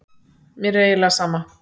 Mér er eiginlega sama.